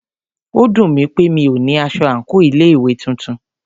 Ó dùnmí pé mí o ní aṣọ àńkò ilé ìwé titun.